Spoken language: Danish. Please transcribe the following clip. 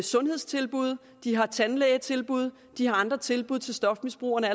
sundhedstilbud de har tandlægetilbud de har dag andre tilbud til stofmisbrugerne